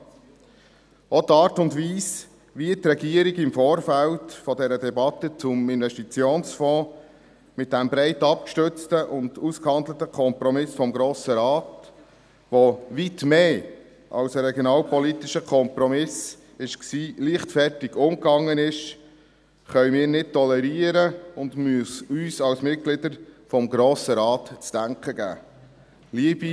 Auch die Art und Weise, wie die Regierung im Vorfeld der Debatte zum Investitionsfonds mit diesem breit abgestützten und ausgehandelten Kompromiss des Grossen Rates, der weit mehr als ein regionalpolitischer Kompromiss war, leichtfertig umging, können wir nicht tolerieren, und es muss uns Mitgliedern des Grossen Rates zu denken geben.